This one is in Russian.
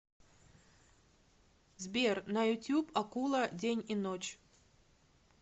сбер на ютуб акула день и ночь